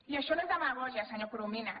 i això no és demagògia senyor corominas